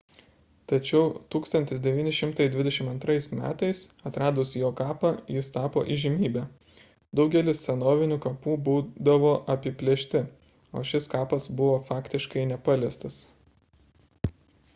tačiau 1922 m atradus jo kapą jis tapo įžymybe daugelis senovinių kapų būdavo apiplėšti o šis kapas buvo faktiškai nepaliestas